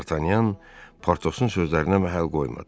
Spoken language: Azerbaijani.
Dartanyan Partosun sözlərinə məhəl qoymadı.